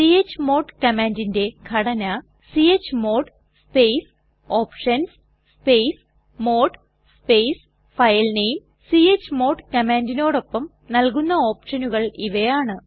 chmod കമാൻഡിന്റെ ഘടന chmod space options space mode space filename space chmod space options space filename chmod കമാൻഡിനോടൊപ്പം നൽകുന്ന ഓപ്ഷനുകൾ ഇവയാണ്